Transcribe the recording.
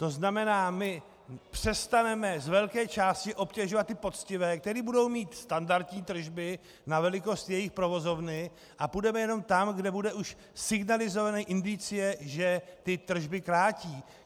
To znamená, my přestaneme z velké části obtěžovat ty poctivé, kteří budou mít standardní tržby na velikost jejich provozovny, a půjdeme jenom tam, kde bude už signalizována indicie, že ty tržby krátí.